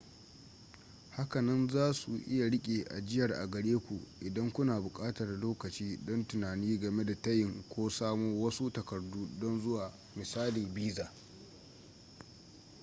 hakanan zasu iya riƙe ajiyar a gare ku idan kuna buƙatar lokaci don tunani game da tayin ko samo wasu takardu don zuwa misali visa